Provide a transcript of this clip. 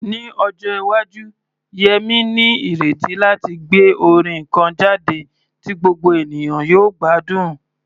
Ní ọjọ́ iwájú, Yemi ní ìrètí láti gbé orin kan jáde tí gbogbo ènìyàn yóò gbádùn.